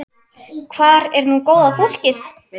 Hvar er nú góða fólkið?